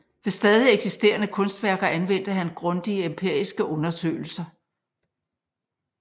Ved stadig eksisterende kunstværker anvendte han grundige empiriske undersøgelser